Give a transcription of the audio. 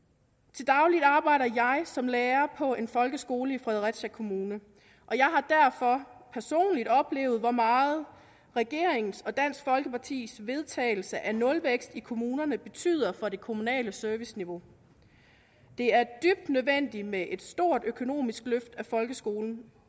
til daglig arbejder jeg som lærer på en folkeskole i fredericia kommune og jeg har derfor personligt oplevet hvor meget regeringens og dansk folkepartis vedtagelse af nulvækst i kommunerne betyder for det kommunale serviceniveau det er dybt nødvendigt med et stort økonomisk løft til folkeskolen